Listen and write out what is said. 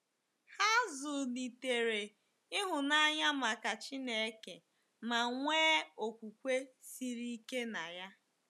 Ha zụlitere ịhụnanya maka Chineke ma nwee okwukwe siri ike na ya.